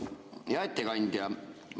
Hea ettekandja!